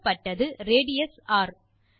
கொடுக்கப்பட்டது ரேடியஸ் ர்